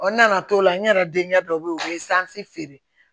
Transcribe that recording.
n nana to la n yɛrɛ denkɛ dɔ bɛ yen u bɛ feere